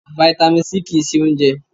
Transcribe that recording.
Fáítámì C kì ń ṣe oúnjẹ.